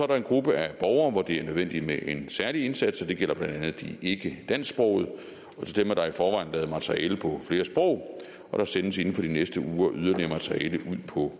der en gruppe af borgere hvor det er nødvendigt med en særlig indsats og det gælder blandt andet de ikkedansksprogede og til dem er der i forvejen lavet materiale på flere sprog og der sendes inden for de næste uger yderligere materiale ud på